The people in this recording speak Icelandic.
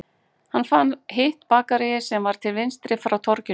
Hann fann hitt bakaríið sem var til vinstri frá torginu